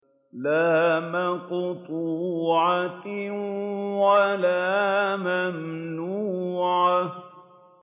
لَّا مَقْطُوعَةٍ وَلَا مَمْنُوعَةٍ